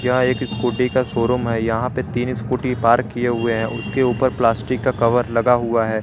यह एक स्कूटी का शोरूम है। यहां पर तीन स्कूटी पार्क किए हुए हैं। उसके ऊपर प्लास्टिक का कवर लगा हुआ है।